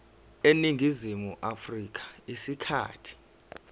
eningizimu afrika isikhathi